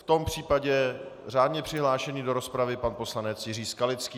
V tom případě řádně přihlášený do rozpravy pan poslanec Jiří Skalický.